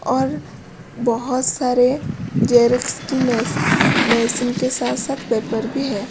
और बहुत सारे जेरेक्स की मेसिन के साथ-साथ पेपर भी हैं।